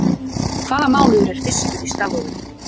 Hvaða mánuður er fyrstur í stafrófinu?